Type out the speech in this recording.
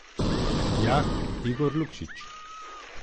Jah, Igor Lukšič.